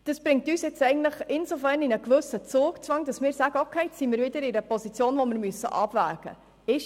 Das setzt uns nun insofern unter einen gewissen Zugzwang, als wir uns wieder in einer Position befinden, in der wir abwägen müssen.